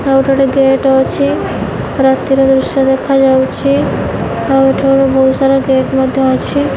ଆଉ ଏଠି ଗୋଟେ ଗେଟ୍ ଅଛି ରାତିର ଦୃଶ୍ୟ ଦେଖାଯାଉଛି ଆଉ ଏଠିି ଗୋଟେ ବହୁତ୍ ସାରା ଗେଟ୍ ମଧ୍ୟ ଅଛି।